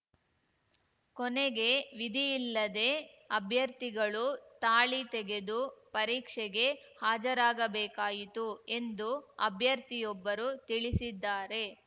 ಕೊನೆಗೆ ವಿಧಿಯಿಲ್ಲದೆ ಅಭ್ಯರ್ಥಿಗಳು ತಾಳಿ ತೆಗೆದು ಪರೀಕ್ಷೆಗೆ ಹಾಜರಾಗಬೇಕಾಯಿತು ಎಂದು ಅಭ್ಯರ್ಥಿಯೊಬ್ಬರು ತಿಳಿಸಿದ್ದಾರೆ